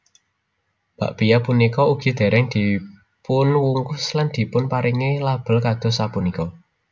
Bakpia punika ugi dèrèng dipunwungkus lan dipunparingi label kados sapunika